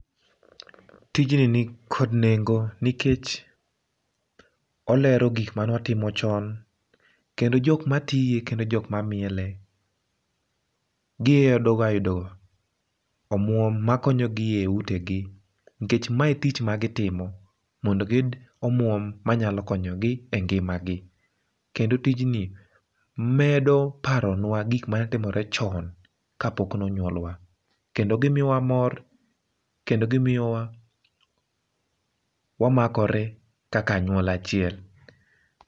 Tijni nikod nengo nikech olero gikmanotimo chon kendo jok ma tie kendo jok mamiele omwom makonyogi e utegi, nkech mae tich ma gitimo mondo giyud omwom ma nyalo konyogi e ngima gi. Kendo tijni medo paronwa gik mane timore chon kapok nonywolwa, kendo gimiyowa mor kendo gimiyowa wa makore kaka anyuola achiel.